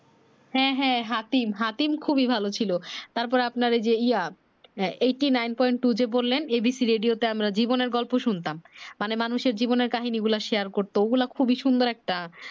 হ্যাঁ হ্যাঁ হাতিম হাতিম খুবি ভালো ছিলো তারপরে আপনার এই যে ইয়া eighty nine point two যে বললেন abc radio তে আমরা জীবনের গল্প শুনতাম মানে মানুষের জীবনের কাহীনি গুলা share করতো ঐ গুলা খুবি সুন্দর একটা